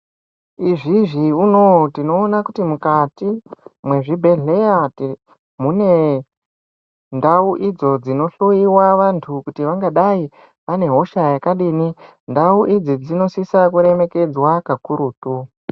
Izvizvi unowu tinoona kuti mukati ,mwezvibhedhleya te, mune ndau idzo dzinohloiwa vantu kuti vangadai vane hosha yakadini. Ndau idzi dzinosisa kuremekedzwa kakurutu.